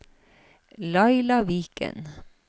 Laila Viken